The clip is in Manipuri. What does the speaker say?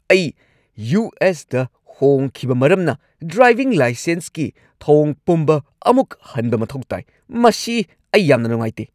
ꯑꯩ ꯌꯨ. ꯑꯦꯁ. ꯇ ꯍꯣꯡꯈꯤꯕ ꯃꯔꯝꯅ ꯗ꯭ꯔꯥꯏꯚꯤꯡ ꯂꯥꯏꯁꯦꯟꯁꯀꯤ ꯊꯧꯑꯣꯡ ꯄꯨꯝꯕ ꯑꯃꯨꯛ ꯍꯟꯕ ꯃꯊꯧ ꯇꯥꯏ, ꯃꯁꯤ ꯑꯩ ꯌꯥꯝꯅ ꯅꯨꯡꯉꯥꯏꯇꯦ ꯫